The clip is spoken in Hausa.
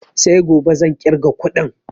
Sai gobe zan ƙirga kuɗin